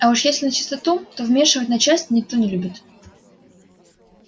а уж если начистоту то вмешивать начальство никто не любит